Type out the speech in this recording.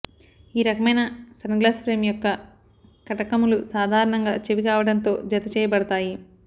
ఈ రకమైన sun glass frame యొక్క కటకములు సాధారణంగా చెవి కాండంతో జతచేయబడతాయి